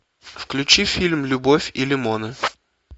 включи фильм любовь и лимоны